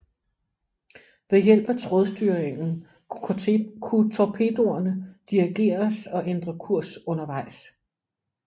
Ved hjælp af trådstyringen kunne torpedoerne dirigeres og ændre kurs undervejs